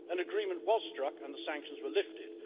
An agreement was struck and the sanctions were lifted.